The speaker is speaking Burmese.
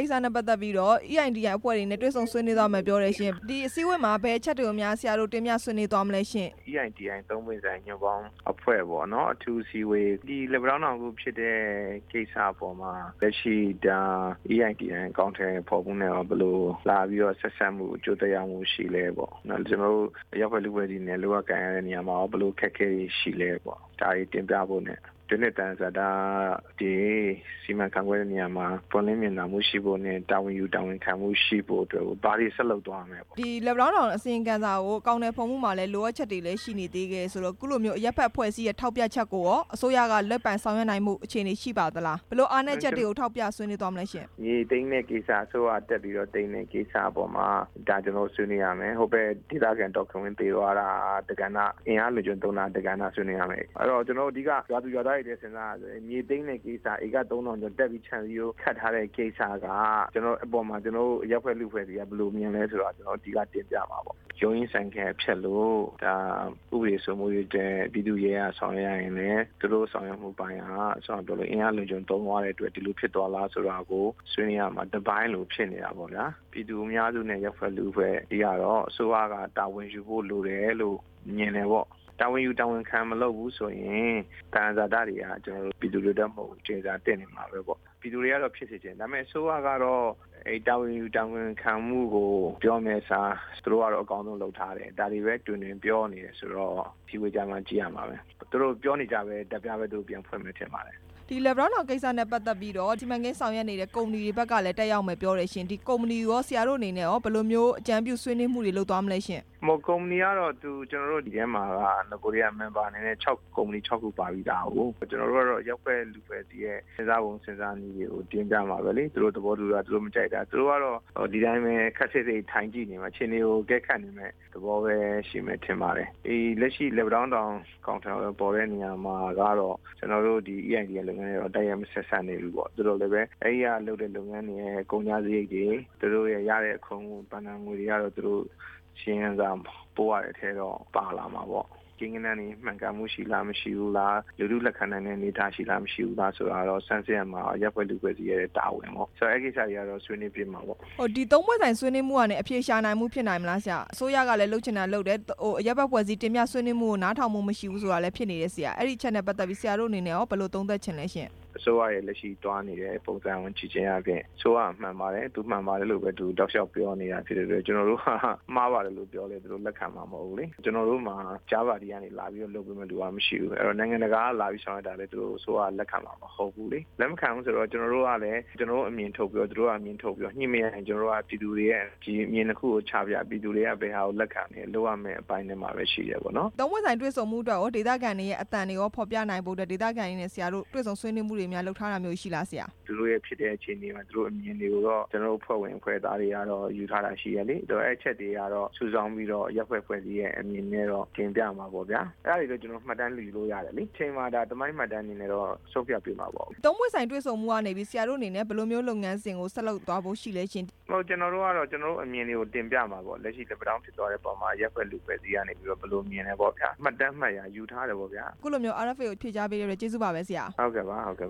ိစ္စနဲ့ပတ်သက်ပြီးတော့ EITI အဖွဲ့ဝင်တွေ တွေ့ဆုံဆွေးနွေးသွားမယ် ပြောတယ်ရှင့်၊ ဒီအစည်းအဝေးမှာ ဘယ်အချက်တွေများ ဆရာတို့ တွေ့ဆုံဆွေးနွေးသွားမလဲရှင့်။ EITI သုံးပွင့်ဆိုင်အဖွဲ့ပေါ့နော်၊ အထူးအစည်းအဝေး၊ လက်ပံ တောင်းတောင် အခုဖြစ်တဲ့ ကိစ္စပေါ်မှာ လက်ရှိ EITI အကောင် အထည်ဖော်မှုနဲ့ရော ဘယ်လိုလာပြီးတော့ ဆက်စပ်မှု၊ အကျိုးသက်ရောက်မှုရှိလဲပေါ့နော်၊ ကျနော်တို့ အရပ်ဖွဲ့အဖွဲ့အစည်းတွေနဲ့ လုပ်ရကိုင်ရတဲ့ အခါမှာရော ဘယ်လိုအခက်အခဲတွေ ရှိလဲပေါ့၊ ဒါတွေတင်ပြဖို့နဲ့ တဖြင့်သယံဇာတ စီမံခန့်ခွဲ့နေရာမှာ ပွင့်လင်းမြင်သာမှုရှိဖို့နဲ့ တာဝန်ယူ၊ တာဝန်ခံမှုရှိဖို့အတွက်ကို ဘာတွေ ဆက်လုပ်သွားမလဲပေါ့။ လက်ပံတောင်းတောင် အစီရင်ခံစာကို အကောင်အထည် ဖော်မှုမှာလဲ လိုအပ်ချက်တွေရှိနေသေးတယ်ဆိုတော့ အခုလိုမျိုး အရပ်ဖက်အဖွဲ့ အစည်းရဲ့ထောက်ပြချက်ကိုရော အစိုးရကလိုက်ပါဆောင်ရွက်နိုင်မှု အခြေအနေ ရှိပါလား၊ ဘယ်လိုအားနည်းချက်တွေကို ထောက်ပြဆွေးနွေးသွားမလဲရှင့်။ မြေသိမ်းတဲ့ကိစ္စ၊ အစိုးရကတက်သိမ်းတဲ့ကိစ္စအပေါ်မှာ ဒါကျနော်တို့ဆွေးနွေးရမယ်၊ ဟိုဖက်ဒေသခံဒေါ်ခင်ဝင်းသေသွားတာ၊ အင်အားအလွန် အကျွံသုံးတာဆွေးနွေးရမယ်၊ ကျနော်တို့ အဓိက ရွာသူရွာသားတွေတွက်ဆိုရင် မြေသိမ်းတဲ့ကိစ္စ ဧက ၃၀၀၀ ကျော်တက်ပြီး ခြံစည်းရိုးခတ်တဲ့ ကိစ္စက ကျနော်တို့ အရပ်ဖက်လူမှုအဖွဲ့အစည်းက ဘယ်လိုမြင်လဲဆိုတာ ကျနော်တို့ အဓိကတင်ပြမှာပေါ့။ ရုံးရင်းဆန်ခတ်ဖြစ်လို့ ဒါတရားဥပဒေစိုးမိုးရေး အတွက်ပြည်သူ့ရဲက ဆောင်ရွက်ရရင်လဲ သူတို့ဆောင်ရွက်ရတဲ့အပိုင်းက အင်အားအလွန်အကျွံသုံးတဲ့အတွက် ဒီလိုဖြစ်သွားလား ဆိုတာကို ဆွေးနွေးရမှာ တစ်ပိုင်းလိုဖြစ်နေတာပေါ့ဗျာ၊ ပြည်သူအများစုနဲ့ အရပ်ဖက်လူ့ အဖွဲ့ကတော့ အစိုးရကတာဝန်ယူဖို့လိုတယ်လို့ မြင်တယ်ပေါ့၊ တာဝန်ယူ၊ တာဝန်ခံ မလုပ်ဘူး ဆိုရင် သယံဇာတာတွေဟာ ကျနော်တို့ပြည်သူတွေအတွက်မဟုတ်ဘူး၊ ကျိန်စာသင့်နေမှာပေါ့၊ ပြည်သူတွေကတော့ဖြစ်စေချင်တာပေါ့၊ အစိုးရကတော့ တာဝန်ယူ၊ တာဝန်ခံမှုကို ပြောမယ့်အစား၊ သူတို့ကတော့ အကောင်းဆုံးလုပ်ထားတယ်၊ ဒါတွေကိုပဲ တွင်တွင်ပြောနေတယ်ဆိုတော့ အစည်းအဝေးကျမှကြည့် ရမှာပဲ၊ သူတို့ပြောနေကြ ဓာတ်ပြားပဲပြန်ဖွင့်မယ်ထင်ပါတယ်။ ဒီလက်ပံတောင်းတောင် ကိစ္စနဲ့ပတ်သက်ပြီးတော့ စီမံကိန်း ဆောင်ရွက်နေတဲ့ ကုမ္ပဏီတွေဖက်ကလဲ တွေ့မယ်ပြောတယ်၊ ဒီကုမ္ပဏီတွေ ကိုရော ဆရာတို့အနေနဲ့ ဘယ်လိုမျိုးအကြံပြုဆွေးနွေးမှုတွေလုပ်သွားမလဲရှင့်။ ကုမ္ပဏီအနေနဲ့ကတော့ ကျနော်တို့ ဒီထဲမှာက နဂိုတည်းက မာန်ဘာ ၆ ခုပါပြီးသား၊ ကျနော်တို့ကတော့ အရပ်ဖက်လူမှုအဖွဲ့ အစည်းတွေရဲ့စဉ်းစားပုံ၊ စဉ်းစားနည်းတွေကို တင်ပြမှာပဲလေ၊ သူတို့သဘောမတူတာ၊ သူတို့မကြိုက်တာ သူတို့ကတော့ ဒီတိုင်းပဲအခြေအနေကို ထိုင်ကြည့်နေ မယ့် သဘောပဲရှိမယ်ထင်ပါတယ်၊ ဒီလက်ရှိလက်ပံတောင်းတောင် အကောင်အထည်ဖော်တဲ့နေရာမှာကတော့ ကျနော်တို့ EITI လုပ်ငန်းနဲ့တိုက်ရိုက်ဆက်စပ် မနေဘူးပေါ့၊ သူတို့လဲပဲ အဲ့ဒီကလုပ်တဲ့လုပ်ငန်းရဲ့ ကုန်ကျစရိတ်တွေ၊ သူတို့ရဲ့ရတဲ့ အခွန်၊ ဘဏ္ဍငွေတွေကတော့ ပို့ရမယ့်ထဲတော့ပါလာ မှာပေါ့၊ ကိန်း ဂဏန်းတွေမှန်ကန်လား၊ မရှိဘူးလား၊ လူထုလက်ခံနိုင်တဲ့အနေအထား ရှိလား၊ မရှိဘူးလားဆိုတာကတော့ ဆန်းစစ်ရမှာ အရပ်ဖက်လူမှုအဖွဲ့အစည်း ရဲ့တာဝန်ပဲပေါ့၊ အဲ့ကိစ္စတွေကတော့ ဆွေးနွေးမှာပေါ့။ ဒီ ၃ ပွင့်ဆိုင်ဆွေးနွေးမှုကနေ အဖြေရှာနိုင်မှုရှိနိုင်မလားဆရာ၊ အစိုးရကလဲလုပ်ချင်တာလုပ်တယ်၊ အရပ်ဖက်လူမှုအဖွဲ့အစည်း တင်ပြဆွေးနွေးမှုကို နားထောင်မှုမရှိဘူးဆိုတာလဲ ဖြစ်နေတယ်ဆရာ၊ အဲ့အချက်နဲ့ ပတ်သက်လို့ရော ဆရာတို့အနေနဲ့ ဘယ်လိုသုံးသပ်ချင်လဲရှင့်။ အစိုးရရဲ့လက်ရှိသွားနေတဲ့ ပုံစံကိုကြည့်ခြင်းအားဖြင့် အစိုးရကသူမှန်ပါတယ်လို့ပဲ တောက်လျှောက်ပြောနေတဲ့ အတွက်ကြောင့် ကျနော်တို့ကမှားပါတယ်လို့ပြောလဲ သူတို့ကလက်ခံမှာမဟုတ်ဘူးလေ၊ ကျနော်တို့မှာ တခြားပါတီကနေလာပြီးလုပ်ပေးမယ့်သူကမရှိဘူး၊ နိုင်ငံတကာကလာလဲ အစိုးရက လက်ခံမှာ မဟုတ်ဘူးလေ၊ လက်မခံတော့ ကျနော်တို့ကလဲ ကျနော်တို့အမြင်ထုတ် ပြော၊ သူတို့ကလဲ သူတို့အမြင်ထုတ်ပြော ညှိမရရင် ကျနော်တို့တွေ ရဲ့အမြင် ၂ ခုကို ပြည်သူတွေကိုချပြ၊ ပြည်သူတွေကဘယ်ဟာကို လက်ခံတယ်၊ လုပ်ရမယ့်အပိုင်းတွေပဲ ရှိတယ်ပေါ့နော်။ ၃ ပွင့်ဆိုင်ဆွေးနွေးဖို့အတွက်ကို ဒေသခံတွေရဲ့အသံကို ဖော်ပြနိုင်ဖို့အတွက် ဒေသခံတွေနဲ့ ဆရာတို့တွေ့ဆုံဆွေးနွေးထားတာ များရှိလားဆရာ။ သူတို့ဖြစ်တဲ့အချိန်မှာ သူတို့ရဲ့အမြင်တွေကိုတော့ ကျနော်တို့ အဖွဲ့သူ၊ အဖွဲ့သားတွေက ယူထားတာရှိတယ်လေ၊ အဲ့ချက်တွေကို စုဆောင်ပြီးတော့ အရပ်ဖက်အဖွဲ့အစည်းရဲ့အမြင်နဲ့တော့ တင်ပြမှာပေါ့ဗျာ၊ အဲ့ဒါတွေတော့ ကျနော်တို့မှတ်တမ်းအနေနဲ့ ယူလို့ရတယ်လေ၊ တချိန်မှာ သမိုင်း မှတ်တမ်းအနေနဲ့တော့ ဆုံးဖြတ်ပေးမှာပေါ့၊ ၃ ပွင့်ဆိုင်တွေ့ဆုံမှုကနေ ဆရာတို့အနေနဲ့ ဘယ်လိုမျိုးလုပ်ငန်း စဉ်ကို ဆက်လုပ်သွားဖို့ရှိလဲရှင့်။ ကျနော်တို့ကတော့ ကျနော်တို့အမြင်ကို တင်ပြမှာပေါ့၊ လက်ရှိ လက်ပံတောင်းဖြစ်သွားတဲ့ အခါမှာ အရပ်ဖက်အဖွဲ့အစည်းက ဘယ်လိုမြင်လဲပေါ့ဗျာ၊ မှတ်တမ်း၊ မှတ်ရာယူထားတယ်ပေါ့ဗျာ၊ အခုလိုမျိုး RFA ကိုဖြေကြားပေးလို့ ကျေးဇူးတင်ပါတယ် ဆရာ။ ဟုတ်ကဲ့ပါ၊ ဟုတ်ကဲ့